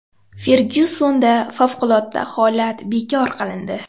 Fergyusonda favqulodda holat bekor qilindi.